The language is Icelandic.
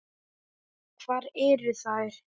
Hvar eru þær?